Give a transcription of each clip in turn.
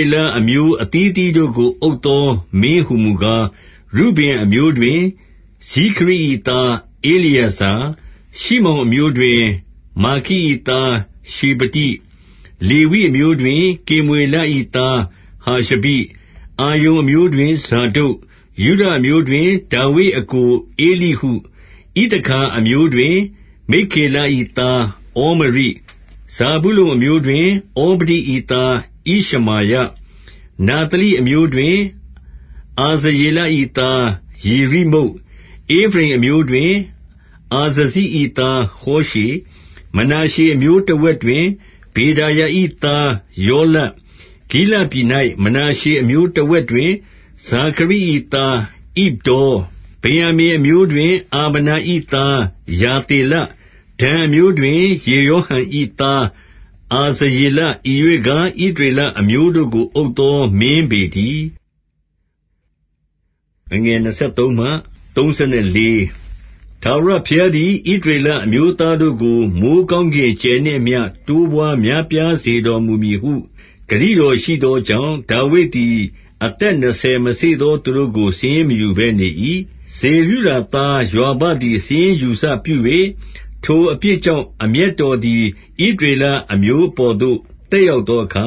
ေလအမျိုးအသီးအသီးတို့ကို အုပ်သော မင်းဟူမူကား၊ ရုဗင်အမျိုးတွင် ဇိခရိ၏သားဧလျေဇာ၊ ရှိမောင်အမျိုးတွင် မာခ၏သား ရှေဖတိ။ 17 လေဝိအမျိုးတွင် ကေမွေလ၏သားဟာရှဘိ၊ အာရုန်အမျိုးတွင် ဇာဒုတ်၊ 18 ယုဒအမျိုးတွင် ဒါဝိဒ်အစ်ကိုဧလိဟု၊ ဣသခါ အမျိုးတွင် မိက္ခေလ၏သားဩမရိ၊ 19 ဇာဗုလုန်အမျိုးတွင် ဩဗဒိ၏သားဣရှမာယ၊ နဿလိအမျိုးတွင် အာဇရေလ၏သား ယေရိမုတ်၊ 20 ဧဖရိမ်အမျိုးတွင် အာဇဇိ၏သား ဟောရှေ၊ မနာရှေအမျိုးတဝက် တွင်ပေဒါယ၏သား ယောလ၊ 21 ဂိလဒ်ပြည်၌ မနာရှေအမျိုးတဝက်တွင် ဇာခရိ ၏သားဣဒ္ဒေါ၊ ဗင်္ယာမိန်အမျိုးတွင် အာဗနာ၏သား ယာသေလ၊ 22 ဒန်အမျိုးတွင် ယေရောဟံ၏ သားအာဇရေလ၊ ဤရွေ့ကား ဣသရေလအမျိုးတို့ကို အုပ်သောမင်းပေ တည်း။ 23 ထာဝရဘုရားသည် ဣသရေလအမျိုးသားတို့ကို မိုဃ်းကောင်းကင်ကြယ်နှင့်အမျှ တိုးပွါးများပြားစေတော်မူ မည်ဟု ဂတိတော်ရှိသောကြောင့်၊ ဒါဝိဒ်သည် အသက် နှစ်ဆယ်မစေ့သော သူတို့ကို စာရင်းမယူဘဲ နေ၏။ 24 ဇေရုယာသားယွာဘသည် စာရင်းယူစပြု၍၊ ထိုအပြစ်ကြောင့် အမျက်တော်သည် ဣသရေလအမျိုး အပေါ်သို့ သက်ရောက်သောအခါ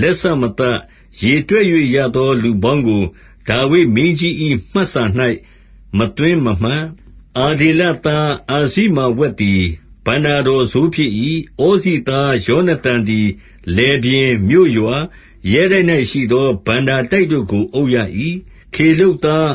လက်စမသတ်။ ရေတွက်၍ရသော လူပေါင်းကို ဒါဝိဒ်မင်းကြီး၏ မှတ်စာ ၌ မသွင်းမမှတ်။ 25 အဒေလသား အာဇိမာဝက်သည် ဘဏ္ဍာတော် စိုးဖြစ်၏။ ဩဇိသားယောနသန်သည် လယ်ပြင်၊ မြို့ရွာ၊ ရဲတိုက်၌ရှိသော ဘဏ္ဍာတိုက်တို့ကို အုပ်ရ၏။ 26 ခေလုပ်သား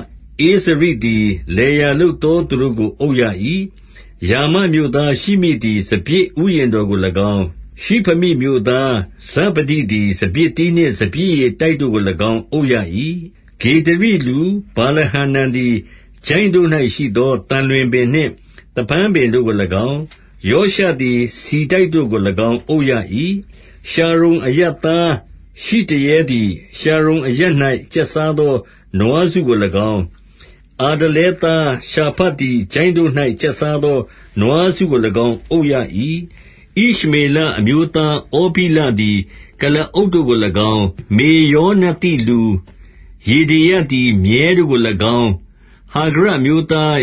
ဧဇရိသည် လယ်ယာလုပ်သော သူတို့ကို အုပ်ရ၏။ 27 ရာမမြို့သားရှိမိသည် စပျစ်ဥယျာဉ်တော်ကို ၎င်း၊ ရှိဖမိမြို့သား ဇဗဒိသည်စပျစ်သီးနှင့် စပျစ်ရည် တိုက်တို့ကို၎င်း အုပ်ရ၏။ 28 ဂေဒရိလူ ဗာလဟာနန်သည် ချိုင့်တို့၌ရှိသော သံလွင်ပင်နှင့် သဖန်းပင်တို့ကို၎င်း၊ ယောရှသည် ဆီတိုက် တို့ကို၎င်း အုပ်ရ၏။ 29 ရှာရုန် အရပ်သားရှိ တရဲသည် ရှာရုန်အရပ်၌ ကျက်စားသော နွားစုကို၎င်း၊ အာဒလဲသား ရှာဖတ်သည် ချိုင့်တို့၌ ကျက်စားသော နွားစုကို၎င်း အုပ်ရ၏။ 30 ဣရှမေလအမျိုးသားဩဗိလသည် ကုလားအုပ် တို့ကို၎င်း၊ မေရောနသိလူယေဒေယသည် မြည်းတို့ကို၎င်း၊ 31 ဟာဂရိအမျိုးသား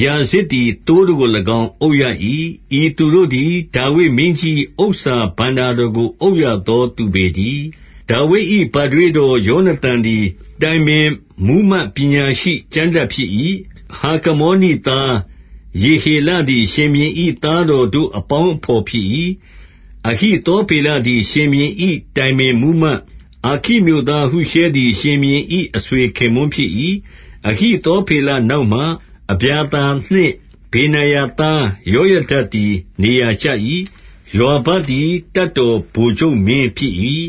ခယာဇဇ်သည် သိုးတို့ကို၎င်း အုပ်ရ၏။ ဤသူတို့သည် ဒါဝိဒ်မင်းကြီး၏ ဥစ္စာဘဏ္ဍာ တော်ကိုအုပ်ရသော သူပေတည်း။ 32 ဒါဝိဒ်၏ ဘထွေးတော်ယောနသန်သည်တိုင်ပင် မှူးမတ်ပညာရှိကျမ်းတတ်ဖြစ်၏။ ဟခမောနိသား ယေဟေလသည် ရှင်ဘုရင်၏သားတော်တို့ အပေါင်း အဘော် ဖြစ်၏။ 33 အဟိသောဖေလသည် ရှင်ဘုရင်၏ တိုင်ပင် မှူးမတ်၊ အာခိမြို့သားဟုရှဲသည် ရှင်ဘုရင်၏ အဆွေ ခင်ပွန်းဖြစ်၏။ 34 အဟိသောဖေလ နောက်မှာအဗျာသာနှင့် ဗေနာယသား ယောယဒသည် နေရာကျ၏။ ယွာဘသည် တပ်တော်ဗိုလ်ချုပ်မင်းဖြစ်၏။